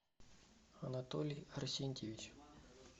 анатолий арсентьевич